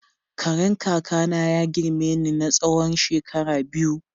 Karen kaka na ya girme ni na tsawon shekara biyu.